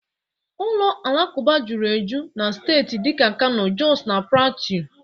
ụlọ alakụba juru eju na steeti dika Kano, Jọs na Platịu